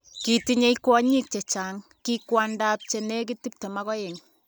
Kitinye kwonyik chechang, ki kwandap chenekit 22